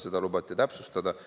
Seda lubati täpsustada.